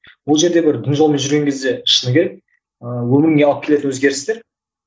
бұл жерде бір дін жолмен жүрген кезде шыны керек ыыы өміріңе алып келеді өзгерістер